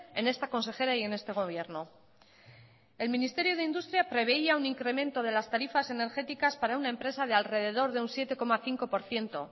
en esta consejera y en este gobierno el ministerio de industria preveía un incremento de las tarifas energéticas para una empresa de alrededor de un siete coma cinco por ciento